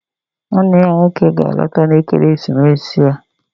Nwanne ya ga-alọta ekeresimesi a